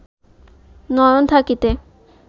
নয়ন থাকিতে